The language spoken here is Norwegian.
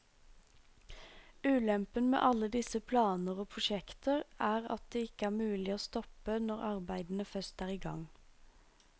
Ulempen med alle disse planer og prosjekter er at det ikke er mulig å stoppe når arbeidene først er i gang.